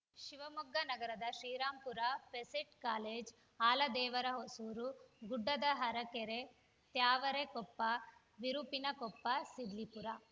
ಶಿವಮೊಗ್ಗ ನಗರದ ಶ್ರೀರಾಂಪುರ ಪೆಸಿಟ್‌ ಕಾಲೇಜ್‌ ಆಲದೇವರಹೊಸೂರು ಗುಡ್ಡದಹರಕೆರೆ ತ್ಯಾವರೆಕೊಪ್ಪ ವಿರುಪಿನಕೊಪ್ಪ ಸಿದ್ಲಿಪುರ